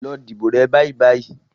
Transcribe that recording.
Lọ dìbò rẹ bàìbàì.